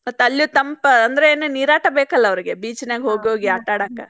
ಮತ್ತ ಅಲ್ಲೂ ತಂಪ ಅಂದ್ರೇನ ನೀರಾಟ ಬೇಕಲ್ ಅವ್ರಿಗೆ beach ನ್ಯಾಗ ಹೋಗೋಗಿ ಆಟ ಆಡಾಕ.